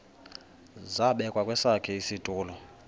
zabekwa kwesakhe isitulo